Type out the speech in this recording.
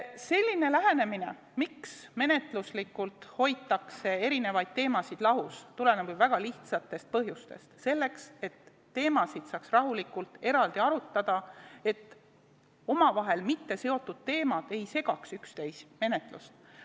See, miks menetluslikult hoitakse eri teemasid lahus, tuleneb ju väga lihtsatest põhjustest: selleks, et teemasid saaks rahulikult eraldi arutada, et omavahel mitteseotud teemad ei segaks üksteise menetlust.